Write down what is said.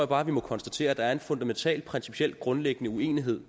bare at vi må konstatere at der er en fundamental principiel grundlæggende uenighed